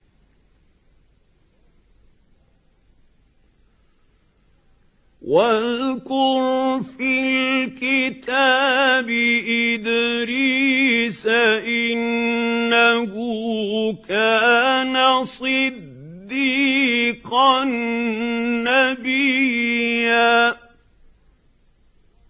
وَاذْكُرْ فِي الْكِتَابِ إِدْرِيسَ ۚ إِنَّهُ كَانَ صِدِّيقًا نَّبِيًّا